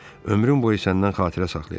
Ömrüm boyu səndən xatirə saxlayacam.